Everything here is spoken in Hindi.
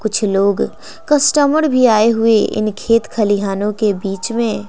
कुछ लोग कस्टमर भी आए हुए इन खेत खलिहानों के बीच में--